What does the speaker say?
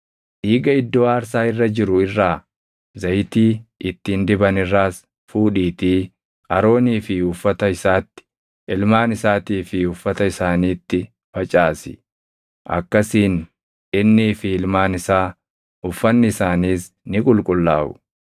Dhiiga iddoo aarsaa irra jiru irraa, zayitii ittiin diban irraas fuudhiitii Aroonii fi uffata isaatti, ilmaan isaatii fi uffata isaaniitti facaasi. Akkasiin innii fi ilmaan isaa, uffanni isaaniis ni qulqullaaʼu.